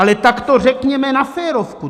Ale tak to řekněme na férovku.